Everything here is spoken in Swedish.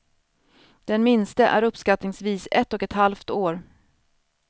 Den minste är uppskattningsvis ett och ett halvt år.